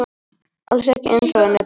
Alls ekki eins og önnur börn.